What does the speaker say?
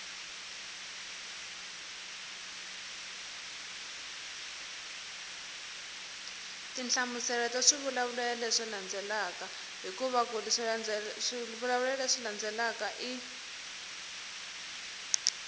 tinhlamuselo ta swivulavulelo leswi landzelaka